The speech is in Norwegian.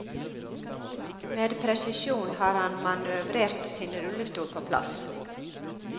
Med presisjon har han manøvrert sin rullestol på plass.